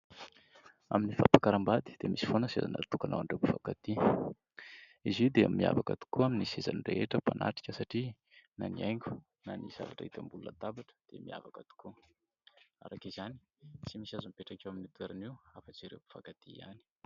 Amin'ny fampakaram-bady dia misy foana ny seza natokana ho an'ireo mpifankatia. Izy io dia miavaka tokoa amin'ny sezan'ny rehetra mpanatrika satria na ny haingo na ny zavatra hita ambonin'ny latabatra dia miavaka tokoa. Araka izany, tsy misy mahazo mipetraka amin'io toerana io afa-tsy ireo mpianktia ihany.